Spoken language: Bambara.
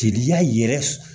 Teriya yɛrɛ